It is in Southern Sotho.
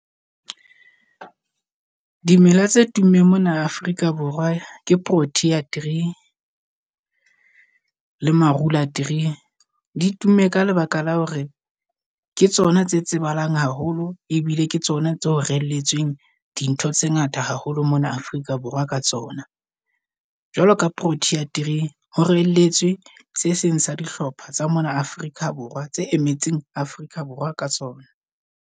Dimela tse tummeng mona Afrika Borwa ke protea tree le marula tree. Di tumme ka lebaka la hore ke tsona tse tsebahalang haholo ebile ke tsona tseo relletsweng dintho tse ngata haholo mona Afrika Borwa ka tsona. Jwalo ka protea tree ho relletsweng se seng sa dihlopha tsa mona Afrika Borwa, tse emetseng Afrika Borwa ka sona.